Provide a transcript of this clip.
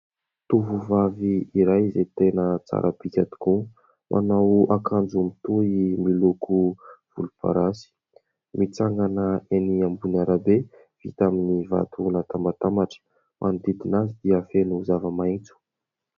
Tovovavy iray izay tena tsara bika tokoa. Manao akanjo mitohy miloko volomparasy. Mitsangana enỳ ambony arabe vita amin'ny vato natambatambatra. Manodidina azy dia feno zava-maitso.